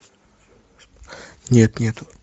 нет нету